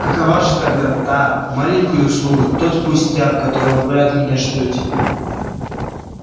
какова же тогда та маленькая услуга тот пустяк которого вы от меня ждёте